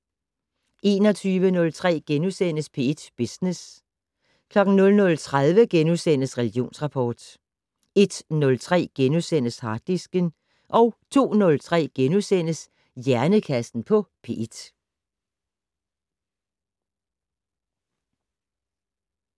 21:03: P1 Business * 00:30: Religionsrapport * 01:03: Harddisken * 02:03: Hjernekassen på P1 *